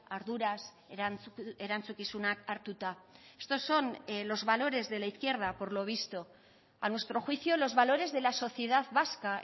arduraz erantzukizunak hartuta estos son los valores de la izquierda por lo visto a nuestro juicio los valores de la sociedad vasca